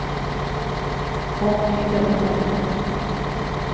Conny Ljungberg